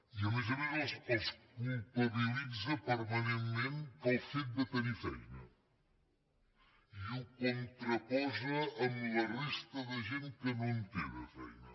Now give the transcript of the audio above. i a més a més els culpabilitza permanentment pel fet de tenir feina i ho contraposa amb la resta de gent que no en té de feina